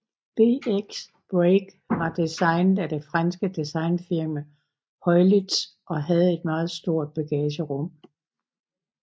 BX Break var designet af det franske designfirma Heuliez og havde et meget stort bagagerum